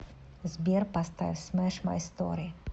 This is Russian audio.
сбер поставь смэш май стори